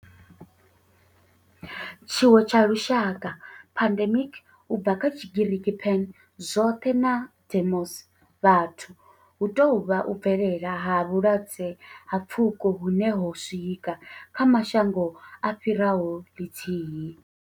Tshiwo tsha lushaka, pandemic, u bva kha Tshigiriki pan, zwothe na demos, vhathu, hu tou vha u bvelela ha vhulwadze ha pfuko hune ho swika kha mashango a fhiraho lithihi.